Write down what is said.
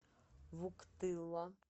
вуктыла